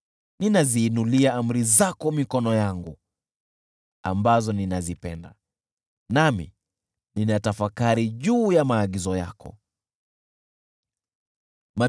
Ninaziinulia amri zako ambazo ninazipenda mikono yangu, nami ninatafakari juu ya maagizo yako.